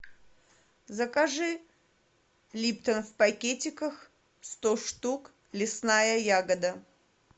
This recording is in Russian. закажи липтон в пакетиках сто штук лесная ягода